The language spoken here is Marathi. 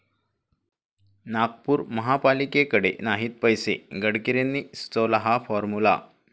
नागपूर महापालिकेकडे नाहीत पैसे, गडकरींनी सुचवला हा फॉर्मुला